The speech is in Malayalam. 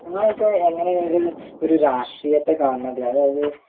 നിങ്ങൾ ഒക്കെ എങ്ങിനെയാണ് ഒരു രാഷ്ട്രീയത്തെ കാണുന്നത് അതായത്